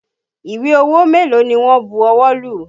Ìwé owó mélòó ni wọn bu ọwọ́ lù?